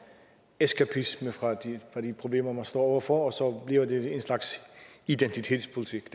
eskapisme fra de problemer man står over for så bliver en slags identitetspolitik